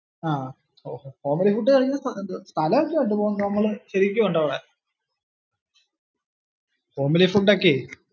ആഹ് homely food സ്ഥലം ഒക്കെ ഉണ്ട് പോകാൻ, ശരിക്കും ഉണ്ടവിടെ homely food ഒക്കെ